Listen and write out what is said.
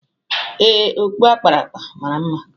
Ee, okpu a kpara akpa mara mma